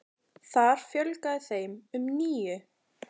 Þar fjölgaði þeim um níu.